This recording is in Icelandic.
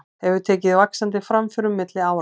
Hefur tekið vaxandi framförum milli ára.